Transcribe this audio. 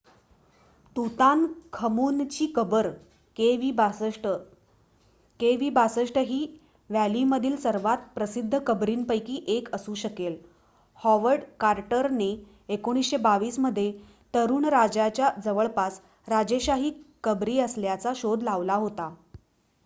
तुतानखमूनची कबर kv62. kv62 ही व्हॅलीमधील सर्वात प्रसिद्ध कबरीपैकी एक असू शकेल हॉवर्ड कार्टरने 1922 मध्ये तरुण राजाच्या जवळपास राजेशाही कबरी असल्याचा शोध लावला होता